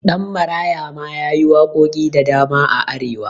Ɗanmaraya ma yayi waƙoƙi da dama a arewa